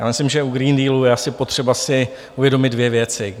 Já myslím, že u Green Dealu je asi potřeba si uvědomit dvě věci.